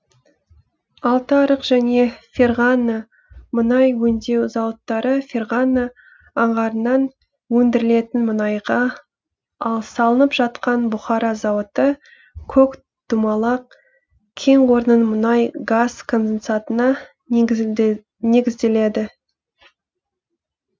алтыарық және ферғана мұнай өңдеу зауыттары ферғана аңғарынан өндірілетін мұнайға ал салынып жатқан бұхара зауыты көкдумалак кен орнының мұнай газ конденсатына негізделеді